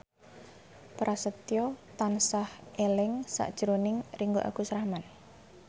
Prasetyo tansah eling sakjroning Ringgo Agus Rahman